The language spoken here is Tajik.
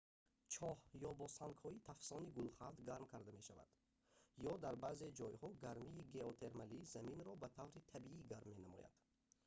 чоҳ ё бо сангҳои тафсони гулхан гарм карда мешавад ё дар баъзе ҷойҳо гармии геотермалӣ заминро ба таври табиӣ гарм менамояд